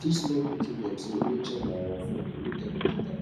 teach small pikin dem say nature na our friend make dem protect am